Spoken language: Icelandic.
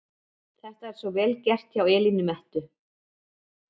Þetta er svo VEL GERT hjá Elínu Mettu!